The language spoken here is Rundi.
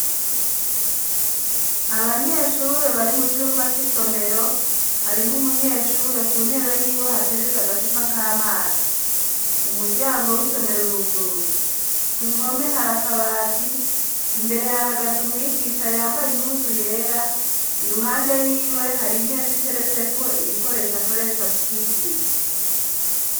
Abanyeshure bari mu cumba c'isomero . Harimwo umunyeshure ku ntebe y'iwe hateretse agacupa k'amazi. Umuryango w'isomero uruguruye . K'uruhome hari akabati, imbere hahagaze umwigisha yambaye impuzu yera. Iruhande y'iwe, hari imeza iteretseko ibikoresha akoresha mu kwigisha.